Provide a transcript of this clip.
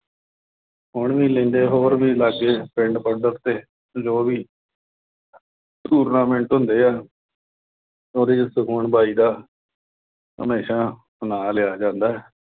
ਕੋਈ ਵੀ ਹੋਰ ਵੀ ਲਾਗੇ ਪਿੰਡ ਪੱਧਰ ਤੇ, ਜੋ ਵੀ tournament ਹੁੰਦੇ ਆ ਉਹਦੇ ਚ ਸੁਖਮਨ ਬਾਈ ਦਾ ਹਮੇਸ਼ਾ ਨਾਂ ਲਿਆ ਜਾਂਦਾ।